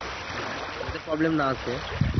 যাতে problem না আসে